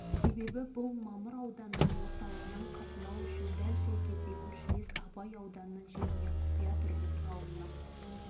осыған байланысты сол жердегі елді мекендер сталин үшінші бесжылдық жаңа күш бөдене алғабас семей облысының қазіргі жаңа